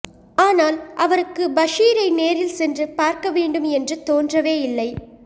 ஆனால் அவருக்கு பஷீரை நேரில் சென்று பார்க்க வேண்டும் என்று தோன்றவேயில்லை